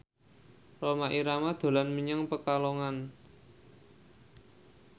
Rhoma Irama dolan menyang Pekalongan